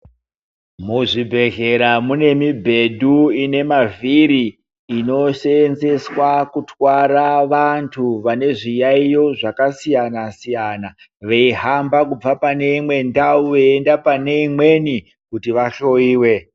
Muzvibhedhlera mune mibhedu ine mavhiri inosevenzeswa kutwara vantu vane zviyayiyo zvakasiyana siyana veimba kubva pane imwe ndau veienda pane imweni kuti vahloiwe.